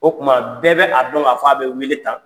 O tuma, bɛɛ bɛ a dɔn ka fɔ a bɛ weele tan.